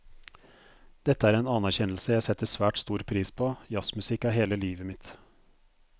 Dette er en anerkjennelse jeg setter svært stor pris på, jazzmusikk er hele livet mitt.